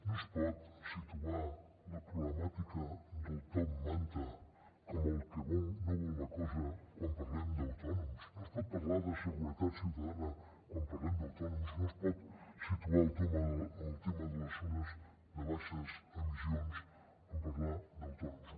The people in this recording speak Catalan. no es pot situar la problemàtica del top manta com el que no vol la cosa quan parlem d’autònoms no es pot parlar de seguretat ciutadana quan parlem d’autònoms no es pot situar el tema de les zones de baixes emissions en parlar d’autònoms